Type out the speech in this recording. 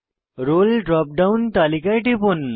role drop down তালিকায় টিপুন